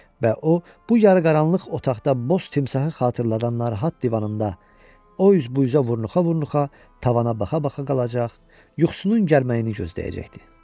Və o, bu yarı qaranlıq otaqda boz timsahı xatırladan narahat divanında, o üz bu üzə vurnuxa-vurnuxa tavana baxa-baxa qalacaq, yuxusunun gəlməyini gözləyəcəkdi.